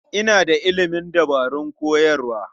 Ina da ilimin dabarun koyarwa.